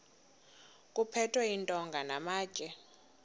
kuphethwe iintonga namatye